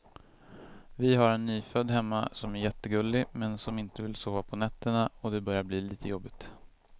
Vi har en nyfödd hemma som är jättegullig, men som inte vill sova på nätterna och det börjar bli lite jobbigt.